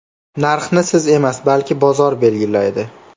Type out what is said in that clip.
Narxni siz emas, balki bozor belgilaydi.